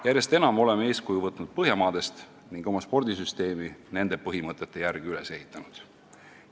Järjest enam oleme eeskuju võtnud Põhjamaadest ning oma spordisüsteemi nende põhimõtete järgi üles ehitanud.